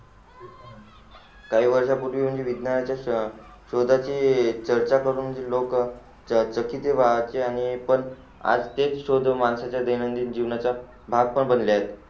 काही वर्षा पूर्वी म्हणजे विज्ञानाच्या शोधा चे चर्चा करून लोक आज तेच शोधून माणसाच्या देयनादिन जीवनाचा भाग पण बनले आहे